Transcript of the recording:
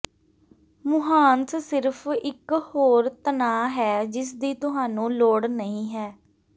ਮੁਹਾਂਸ ਸਿਰਫ਼ ਇੱਕ ਹੋਰ ਤਣਾਅ ਹੈ ਜਿਸਦੀ ਤੁਹਾਨੂੰ ਲੋੜ ਨਹੀਂ ਹੈ